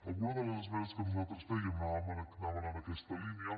algunes de les esmenes que nosaltres fèiem anaven en aquesta línia